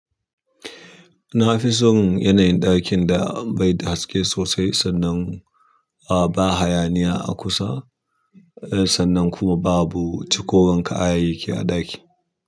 Na fi son yanayin ɗakin da bai da haske sosai sannan ba hayaniya a kusa, sannan kuma babu ciko wan kayayyaki a ɗaki.